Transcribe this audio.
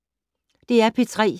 DR P3